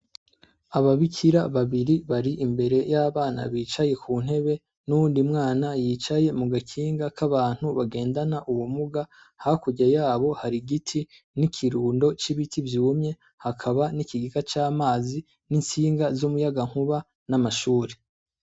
Ababikira babiri bari imbere y'abana bicaye ku ntebe n'uyundi mwana yicaye mu gakinga k'abantu bagendana ubumuga, hakurya yabo hari igiti, n'ikirundo c'ibiti vyumye, hakaba n'ikigege c'amazi, n'intsinga z'umuyagankuba, n'amashure.